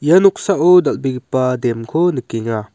ia noksao dal·begipa dam-ko nikenga.